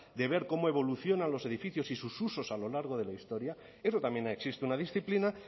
de ver cómo evolucionan los edificios y sus usos a lo largo de la historia eso también existe una disciplina